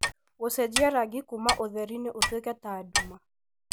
gũcenjia rangi kuuma ũtheri-inĩ ũtuĩke ta nduma